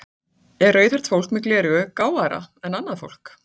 Er rauðhært fólk með gleraugu gáfaðra en annað fólk?